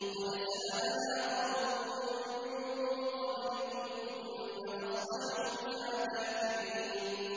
قَدْ سَأَلَهَا قَوْمٌ مِّن قَبْلِكُمْ ثُمَّ أَصْبَحُوا بِهَا كَافِرِينَ